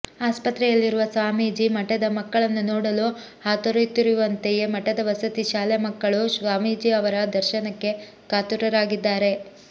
ಆಸ್ಪತ್ರೆಯಲ್ಲಿರುವ ಸ್ವಾಮೀಜಿ ಮಠದ ಮಕ್ಕಳನ್ನು ನೋಡಲು ಹಾತೊರೆಯುತ್ತಿರುವಂತೆಯೇ ಮಠದ ವಸತಿ ಶಾಲೆ ಮಕ್ಕಳೂ ಸ್ವಾಮೀಜಿ ಅವರ ದರ್ಶನಕ್ಕೆ ಕಾತುರರಾಗಿದ್ದಾರೆ